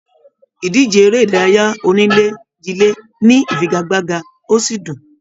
Ìdíje eré ìdárayá onílé jile ní ifigagbaga o sí dùn.